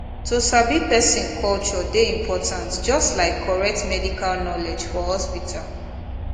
to sabi person culture dey important just like correct medical knowledge for hospital